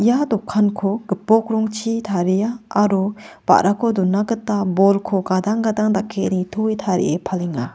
ia dokanko gipok rongchi taria aro ba·rako dona gita bolko gadang gadang dake nitoe tarie palenga.